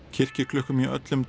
kirkjuklukkum í öllum